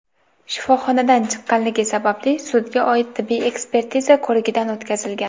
shifoxonadan chiqqanligi sababli sudga oid tibbiy ekspertiza ko‘rigidan o‘tkazilgan.